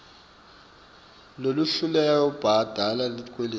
lolohluleka kubhadala tikweleti